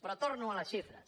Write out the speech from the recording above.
però torno a les xifres